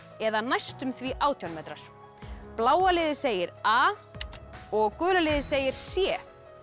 eða næstum því átján metrar bláa liðið segir a og gula liðið segir c